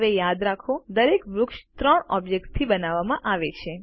હવે યાદ રાખો દરેક વૃક્ષ ત્રણ ઓબ્જેક્ત્સથી બનાવવામાં આવે છે